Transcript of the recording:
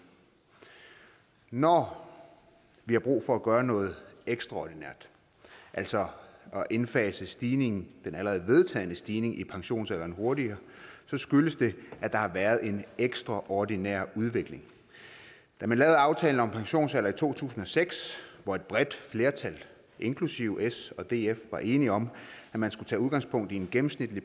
når vi har brug for at gøre noget ekstraordinært altså at indfase stigningen den allerede vedtagne stigning i pensionsalderen hurtigere skyldes det at der har været en ekstraordinær udvikling da man lavede aftalen om pensionsalder i to tusind og seks hvor et bredt flertal inklusive s og df var enige om at man skulle tage udgangspunkt i en gennemsnitlig